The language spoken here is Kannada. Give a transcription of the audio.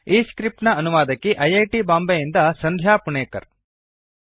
ಈ ಸ್ಕ್ರಿಪ್ಟ್ ನ ಅನುವಾದಕಿ ಸಂಧ್ಯಾ ಹಾಗೂ ಪ್ರವಾಚಕ ಐ ಐ ಟಿ ಬಾಂಬೆಯಿಂದ ವಾಸುದೇವ